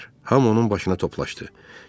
Hamı onun başına toplandı.